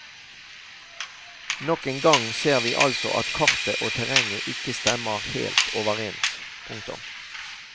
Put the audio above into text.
Nok en gang ser vi altså at kartet og terrenget ikke stemmer helt overens. punktum